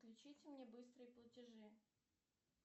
включите мне быстрые платежи